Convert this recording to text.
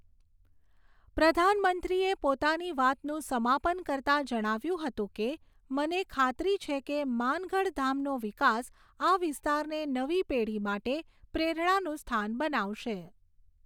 પ્રધાનમંત્રીએ પોતાની વાતનું સમાપન કરતા જણાવ્યુંં હતું કે, મને ખાતરી છે કે માનગઢધામનો વિકાસ આ વિસ્તારને નવી પેઢી માટે પ્રેરણાનું સ્થાન બનાવશે.